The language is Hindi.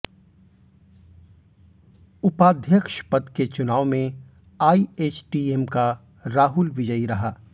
उपाध्यक्ष पद के चुनाव में आईएचटीएम का राहुल विजयी रहा